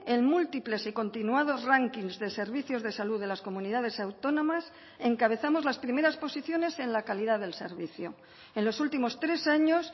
en múltiples y continuados rankings de servicios de salud de las comunidades autónomas encabezamos las primeras posiciones en la calidad del servicio en los últimos tres años